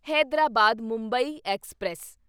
Hyderabad Mumbai express